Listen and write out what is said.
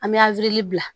An bɛ bila